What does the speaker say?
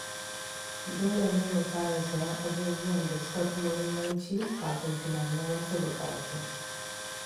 Dole ne mu fara sayen abubuwan da suka fi muhimmanci kafin tunanin wasu bukatu.